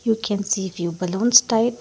you can see the balloons tight.